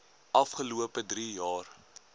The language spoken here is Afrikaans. afgelope drie jaar